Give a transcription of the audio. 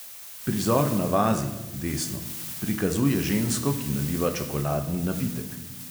Prizor na vazi prikazuje žensko, ki naliva čokoladni napitek.